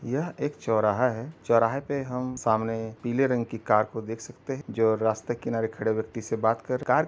यह एक चौराहा है। चौराहे पे हम सामने पीले रंग की कार को देख सकते हैं जो रास्ते के किनारे खड़े व्यक्ति से बात कर। कार --